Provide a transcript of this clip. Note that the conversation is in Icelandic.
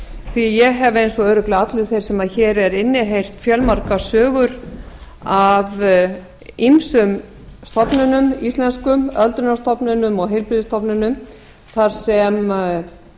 því ég hef eins og örugglega allir þeir sem hér eru inni heyrt fjölmargar sögur af ýmsum stofnunum íslenskum öldrunarstofnunum og heilbrigðisstofnunum þar sem